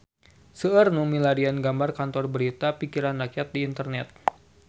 Seueur nu milarian gambar Kantor Berita Pikiran Rakyat di internet